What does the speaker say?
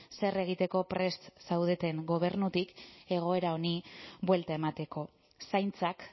zer egiteko prest zaudeten gobernutik egoera honi buelta emateko zaintzak